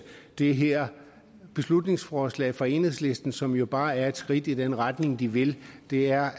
det her beslutningsforslag fra enhedslisten som jo bare er et skridt i den retning de vil det er